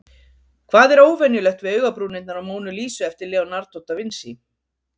Hvað er óvenjulegt við augabrúnirnar á Mónu Lísu eftir Leonardo da Vinci?